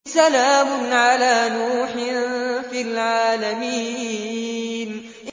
سَلَامٌ عَلَىٰ نُوحٍ فِي الْعَالَمِينَ